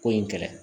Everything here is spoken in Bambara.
Ko in kɛlɛ